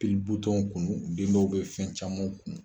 Tulu butɔɲ kunnun, den dɔw bɛ fɛn camanw kunnun.